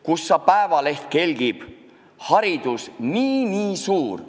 Kussa päevaleht kelgib – haridus nii-nii suur.